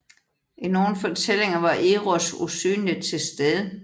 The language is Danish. I nogle fortællinger var Eros usynligt til stede